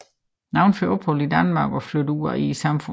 Nogle får ophold i Danmark og flytter ud i samfundet